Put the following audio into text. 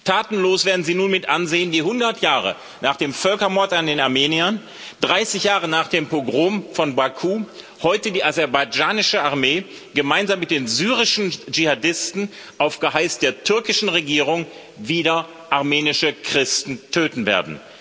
Tatenlos werden Sie nun mit ansehen, wie 100 Jahre nach dem Völkermord an den Armeniern, 30 Jahre nach dem Pogrom von Baku, heute die aserbaidschanische Armee gemeinsam mit den syrischen Dschihadisten auf Geheiß der türkischen Regierung wieder armenische Christen töten wird.